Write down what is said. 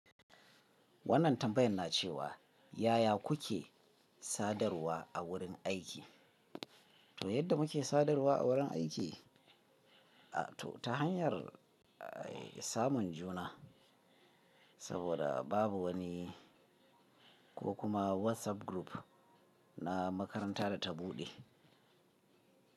Wannan tambayan na ce wa yaya kuke sadarwa a wurin aiki? To yadda muke sadarwa a wurin aiki, ta hanyar samun juna, saboda babu wani ko kuma WhatsApp group na makaranta da ta buɗe.